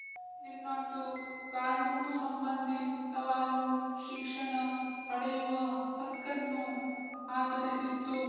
ಇನ್ನೊಂದು ಕಾನೂನುಸಂಬಂಧಿ ಸವಾಲು ಶಿಕ್ಷಣ ಪಡೆಯುವ ಹಕ್ಕನ್ನು ಆಧರಿಸಿತ್ತು